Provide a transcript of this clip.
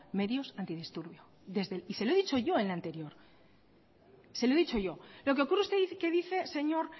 medios antidisturbios y se lo he dicho yo en la anterior lo que ocurre usted que dice señor